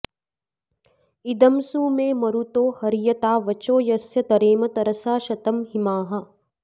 इदं सु मे मरुतो हर्यता वचो यस्य तरेम तरसा शतं हिमाः